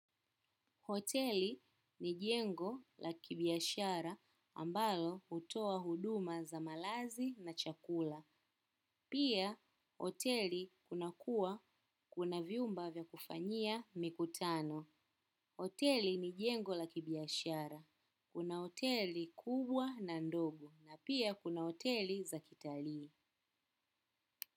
Hoteli ni jengo la kibiashara ambalo hutoa huduma za malazi na chakula. Pia hoteli kuna kuwa kuna vyumba vya kufanyia mikutano. Hoteli ni jengo la kibiashara. Kuna hoteli kubwa na ndogo na pia kuna hoteli za kitalii.